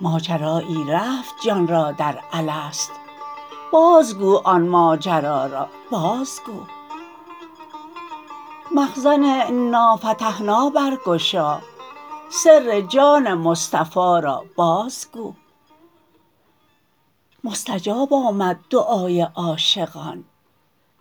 ماجرایی رفت جان را در الست بازگو آن ماجرا را بازگو مخزن انا فتحنا برگشا سر جان مصطفی را بازگو مستجاب آمد دعای عاشقان